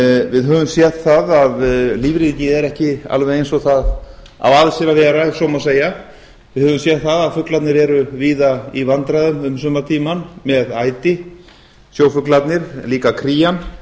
við höfum séð það að lífríkið er ekki alveg eins og það á að sér að vera ef svo má segja við höfum séð að fuglarnir eru víða í vandræðum um sumartímann með æti sjófuglarnir líka krían